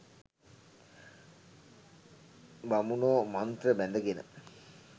බමුණෝ මන්ත්‍ර බැඳගෙන